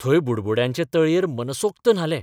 थंय बुडबुड्यांचे तळयेर मनसोक्त न्हाले.